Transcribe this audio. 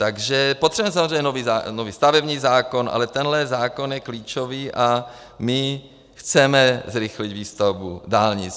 Takže potřebujeme samozřejmě nový stavební zákon, ale tenhle zákon je klíčový, a my chceme zrychlit výstavbu dálnic.